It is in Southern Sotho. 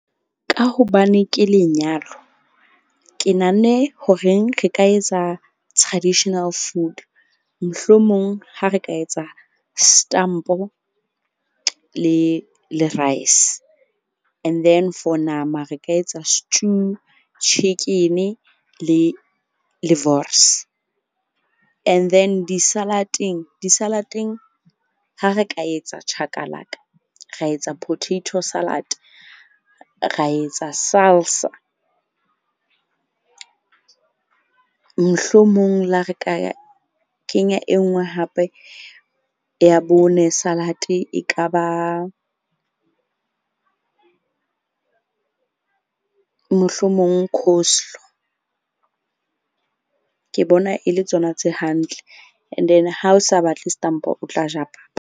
Ka hobane ke lenyalo, ke nahanne horeng re ka etsa traditional food. Mohlomong ha re ka etsa stampo le rice. And then for nama, re ka etsa stew, chicken-e le wors. And then di-salad-eng ha re ka etsa chakalaka, ra etsa potato salad, ra etsa salsa. Mohlomong le ha re ka kenya e nngwe hape ya bone salad e ka ba mohlomong coleslaw. Ke bona e le tsona tse hantle and then ha o sa batle stampo, o tla ja papa.